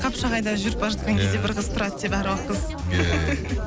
қапшағайда жүріп бара жатқан кезде бір қыз тұрады деп әруақ қыз иә иә